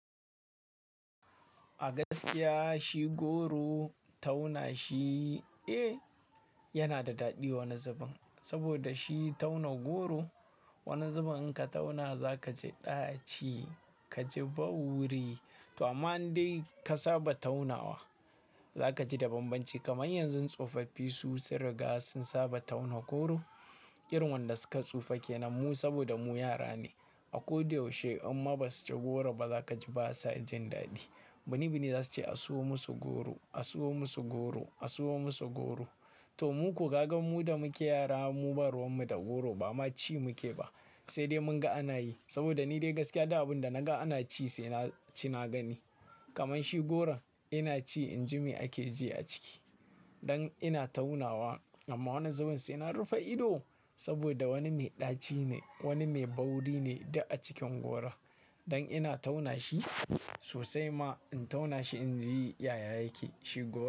A gaskiya shi goro tauna shi, eh, yana da daɗi wani zubin. Saboda shi tauna goro, wani zubin in ka tauna za ka ji ɗaci, ka ji bauri. To amma in dai ka saba taunawa za ka ji da banbanci. Kamar yanzu tsofaffi su sun riga sun saba tauna goro, irin wayanda suka tsufa ke nan mu saboda mu yara ne. A ko da yaushe idan basu ci goro ba za ka ji ba sa jin daɗi. Bini -bini za su ce "A siyo musu goro, a siyo musu goro, a siyo musu goro." To mu ko gaga mu da muke yara mu ba ruwan mu da goro ba ma ci muke ba, sai dai mun ga ana yi. Saboda ni dai gaskiya duk abin da na ga ana ci sai na ci na gani. Kamar shi goron ina ci inji me ake ji a ciki. Dan ina taunawa amma wani zubin sai na rufe ido saboda wani mai ɗaci ne, wani mai bauri ne duk a cikin goron. Dan ina tauna shi sosai ma in tauna shi inji yaya yake shi goro.